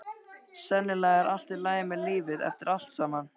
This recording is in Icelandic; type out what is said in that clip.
Sennilega er allt í lagi með lífið eftir allt saman.